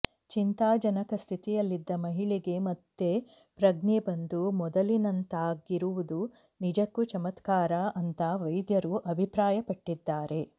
ಚಿಂತಾಜನಕ ಸ್ಥಿತಿಯಲ್ಲಿದ್ದ ಮಹಿಳೆಗೆ ಮತ್ತೆ ಪ್ರಜ್ಞೆ ಬಂದು ಮೊದಲಿನಂತಾಗಿರುವುದು ನಿಜಕ್ಕೂ ಚಮತ್ಕಾರ ಅಂತಾ ವೈದ್ಯರು ಅಭಿಪ್ರಾಯಪಟ್ಟಿದ್ದಾರೆ